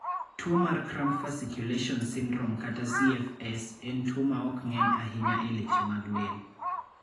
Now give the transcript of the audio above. Tuo mar Cramp fasciculation syndrome (CFS) en tuo ma ok ng�eny ahinya e leche mag del.